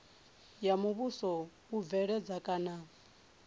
ya muvhuso u bveledza kana